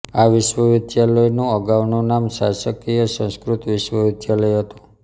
આ વિશ્વવિદ્યાલયનું અગાઉનું નામ શાસકિય સંસ્કૃત વિશ્વવિદ્યાલય હતું